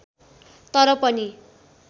तर पनि